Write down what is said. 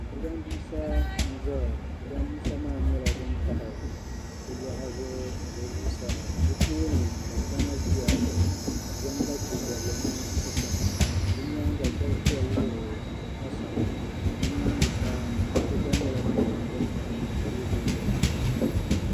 Jirambiisa n-zaya jirambiisa maa nyɛla din tahi di luɣa zuɣu ni di zuɣusaa di tooni daadama ʒiya ka bɛ zaŋ lache bɔbli na ti sɔŋ di nyaaŋa shɛba ʒiya wuɣiri asawu bɛ nyaaŋa sa paɣiba gba nyɛla ban zaŋ bini tam teebuli zuɣu